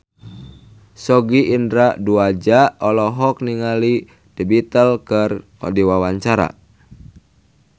Sogi Indra Duaja olohok ningali The Beatles keur diwawancara